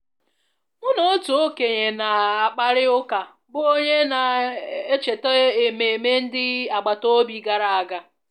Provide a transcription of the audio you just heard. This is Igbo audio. Mụ na otu okenye na-akparịta ụka bụ́ onye na-echeta ememe ndị agbata obi gara aga